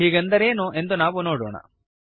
ಹೀಗೆಂದರೇನು ಎಂದು ನಾವು ನೋಡೋಣ